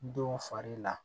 Don fari la